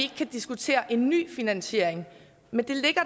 kan diskutere en ny finansiering men det ligger